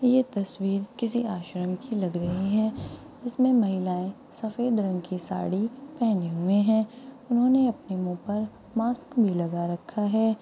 यह तसवीर किसी आश्रम की लाग रही है उसमे महिलाए सफेद रंग की साड़ी पहनी हुए है उन्होंने अपने मुंह पर मास्क भी लगा रखा है।